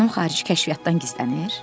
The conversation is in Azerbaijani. Xanım xarici kəşfiyyatdan gizlənir?